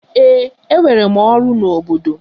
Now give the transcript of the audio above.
Ee, enwere m ọrụ n'obodo.